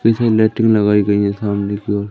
पीछे लैटिंग लगाई गई है सामने की ओर--